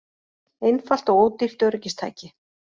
Einfalt og ódýrt öryggistæki